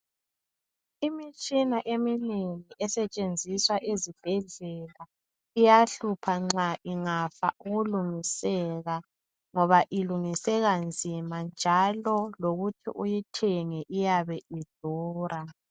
Imitshini eminengi esetshenziswa ezibhedlela iyahlupha nxa ingafa ukulungiseka ngoba ilungiseka nzima njalo lokuthi uyithenge iyabe idura.